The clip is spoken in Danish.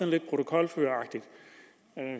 lidt protokolføreragtig